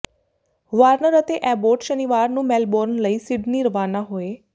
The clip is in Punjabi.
ਵਾਰਨਰ ਅਤੇ ਐਬੋਟ ਸ਼ਨੀਵਾਰ ਨੂੰ ਮੈਲਬੌਰਨ ਲਈ ਸਿਡਨੀ ਰਵਾਨਾ ਹੋਏ